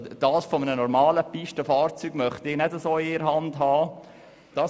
Ein Raupenstück von einem normalen Pistenfahrzeug könnte ich nicht mit einer Hand hochhalten.